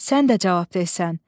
Sən də cavab verirsən.